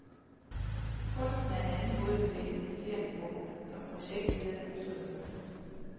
Kunsten er en anden måde at bevæge passagererne på, som projektlederne udtrykker sig.